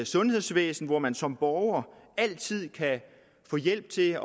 sundhedsvæsen hvor man som borger altid kan få hjælp til